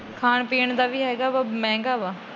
ਖਾਣ ਪੀਣ ਦਾ ਵੀ ਹੇਗਾ ਵਾ ਮਹਿੰਗਾ ਵਾ ।